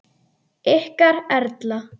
Ykkar Erla.